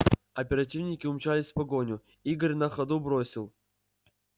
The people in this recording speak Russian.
оперативники умчались в погоню игорь на ходу бросил